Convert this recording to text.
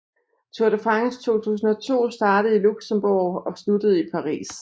Tour de France 2002 startede i Luxenborg og sluttede i Paris